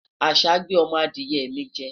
àṣà gbé ọmọ Adiye mi jẹ